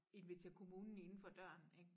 Invitere kommunen inden for døren ik